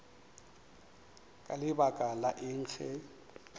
ka lebaka la eng ge